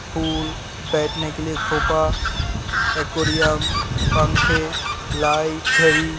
फूल बैठने के लिए सोफा एकोरियम पंखे लाइट घड़ी --